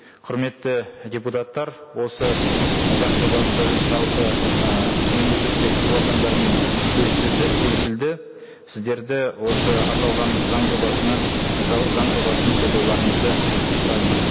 құрметті депутаттар осы заң жобасы жалпы і мемлекеттік органдармен келісілді сіздерді осы аталған заң жобасына заң жобасын қолдауларыңызды сұраймын